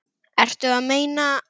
Ertu að meina?